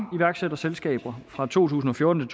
iværksætterselskaber fra to tusind og fjorten